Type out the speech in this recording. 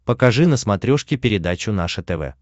покажи на смотрешке передачу наше тв